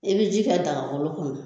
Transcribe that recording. I bɛ ji ka dagakolo kɔnɔ